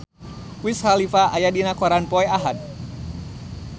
Wiz Khalifa aya dina koran poe Ahad